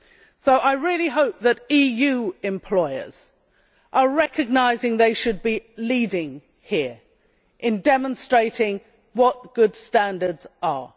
So I really hope the EU employers are recognising they should be leading here, in demonstrating what good standards are.